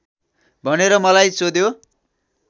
भनेर मलाई सोध्यो